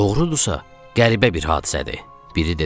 Doğrudursa, qəribə bir hadisədir, biri dedi.